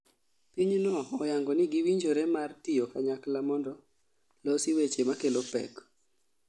Pinyno oyango ni giwinjore mar tiyo kanyakla mondo losi weche makelo pek